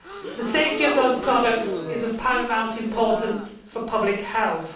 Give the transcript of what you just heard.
The safety of those products is of paramount importance for public health.